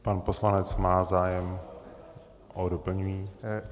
Pan poslanec má zájem o doplnění.